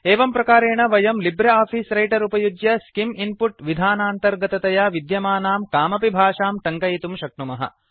एवं प्रकारेण वयं लिब्रे आफीस् रैटर् उपयुज्य स्किम् इन्पुट् विधानान्तर्गततया विद्यमानां कामपि भाषां टङ्कयितुं शक्नुमः